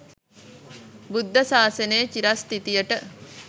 බුද්ධ ශාසනයේ චිරස්ථිතියට